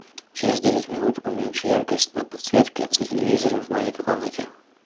через десять минут уменьши яркость на подсветке за телевизором в маленькой комнате